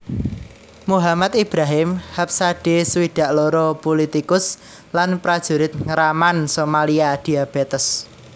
Muhammad Ibrahim Habsade swidak loro pulitikus lan prajurit ngraman Somalia diabétes